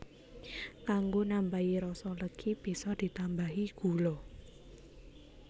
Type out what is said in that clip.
Kanggo nambahi rasa legi bisa ditambahi gula